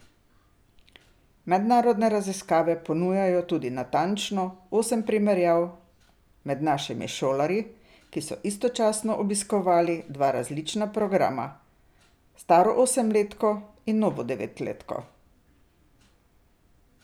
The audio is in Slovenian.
Mednarodne raziskave ponujajo tudi natančno osem primerjav med našimi šolarji, ki so istočasno obiskovali dva različna programa, staro osemletko in novo devetletko.